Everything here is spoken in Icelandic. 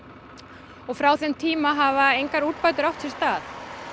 og frá þeim tíma hafa engar úrbætur átt sér stað